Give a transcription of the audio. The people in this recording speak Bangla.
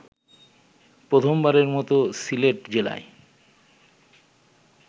প্রথমবারের মত সিলেট জেলায়